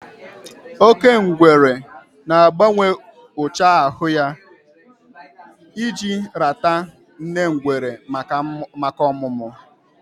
Oke ngwere na-agbanwe ụcha ahụ ya iji rata nne ngwere maka ọmụmụ